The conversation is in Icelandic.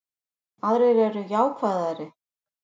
Aðrir eru jákvæðari